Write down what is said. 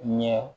Ɲɛ